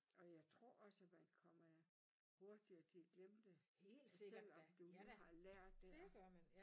Og jeg tror også man kommer hurtigere til at glemme det selvom du nu har lært det